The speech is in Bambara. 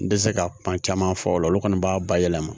N tɛ se ka kuma caman fɔ o la olu kɔni b'a bayɛlɛma